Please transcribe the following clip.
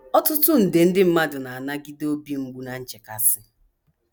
Ọtụtụ nde ndị mmadụ na - anagide obi mgbu na nchekasị.